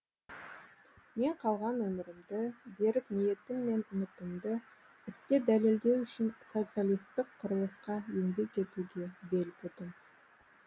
мен қалған өмірімді берік ниетім мен үмітімді істе дәлелдеу үшін социалистік құрылысқа еңбек етуге бел будым